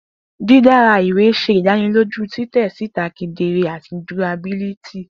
Didara iwe ṣe idaniloju titẹ sita kedere ati durability.